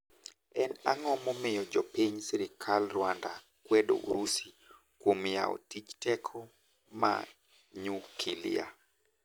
En ang'o momiyo joping sirkal Rwanda kwedo Urusi kuom yao tich teko ma nyukilia?